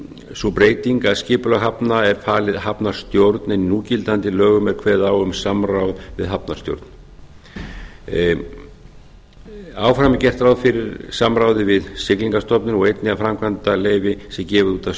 sú breyting að skipulag hafna er falið hafnarstjórn en í núgildandi lögum er kveðið á um samráð við hafnarstjórn áfram er gert ráð fyrir samráði við siglingastofnun og einnig að framkvæmdaleyfi sé gefið út af